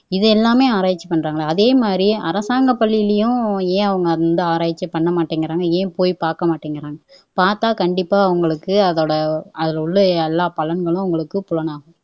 இது எல்லாமே ஆராய்ச்சி பண்றாங்க அதே மாதிரி அரசாங்க பள்ளியிலேயும் ஏன் அவங்க எந்த ஆராய்ச்சியுமே பண்ண மாட்டேங்குறாங்க ஏன் போய் பாக்க மாட்டேங்குறாங்க பாத்தா கண்டிப்பா அவங்களுக்கு அதோட அதுல உள்ள எல்லா பலன்களும் உங்களுக்கு புலனாகும்